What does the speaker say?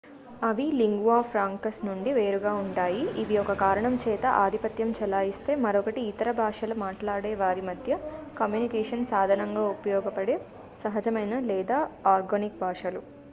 అవి lingua francas నుండి వేరుగా ఉంటాయి ఇవి ఒక కారణం చేత ఆధిపత్యం చెలాయిస్తే మరొకటి ఇతర భాషల మాట్లాడేవారి మధ్య కమ్యూనికేషన్ సాధనంగా ఉపయోగపడే సహజమైన లేదా ఆర్గానిక్ భాషలు